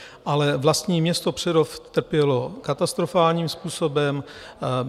Ale vlastní město Přerov trpělo katastrofálním způsobem.